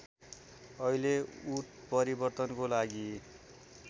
अहिले उत्परिवर्तनको लागि